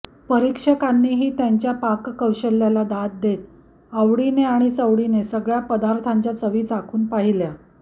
परीक्षकांनीही त्यांच्या पाककौशल्याला दाद देत आवडीने आणि सवडीने सगळ्या पदार्थांच्या चवी चाखून पाहिल्या